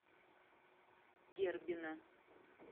дербина